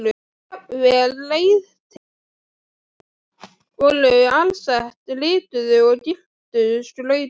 Jafnvel reiðtygin voru alsett lituðu og gylltu skrauti.